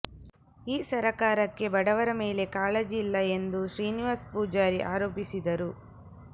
ಈ ಸರಕಾರಕ್ಕೆ ಬಡವರ ಮೇಲೆ ಕಾಳಜಿ ಇಲ್ಲ ಎಂದು ಶ್ರೀನಿವಾಸ್ಪೂಜಾರಿ ಆರೋಪಿಸಿದರು